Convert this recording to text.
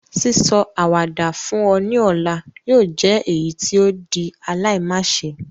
Sísọ àwàdà fún ọ ni ọ̀la yóò jẹ èyítí o di aláimáse